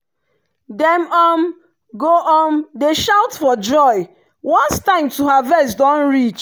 dem um go um dey shout for joy once time to harvest don reach.